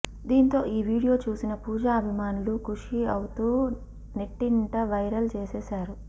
దీంతో ఈ వీడియో చూసిన పూజా అభిమానులు ఖుషీ అవుతూ నెట్టింట వైరల్ చేసేశారు